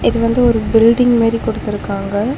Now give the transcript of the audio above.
இது வந்து ஒரு பில்டிங் மெரி குடுத்திருக்காங்க.